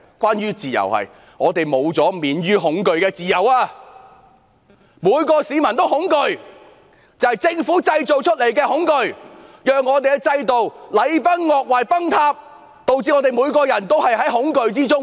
便是我們失去免於恐懼的自由，每位市民也恐懼，那是政府製造出來的恐懼，令我們的制度禮崩樂壞，導致我們每個人也活在恐懼之中。